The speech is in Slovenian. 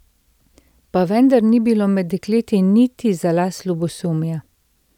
Pa vendar ni bilo med dekleti niti za las ljubosumja.